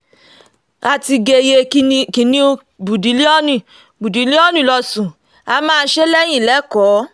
a ti géyée kìnnìún bourdillion bourdillion losùn á máa ṣe é lẹ́yìn lẹ́kọ̀ọ́